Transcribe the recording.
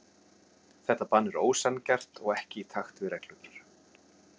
Þetta bann er ósanngjarnt og ekki í takt við reglurnar.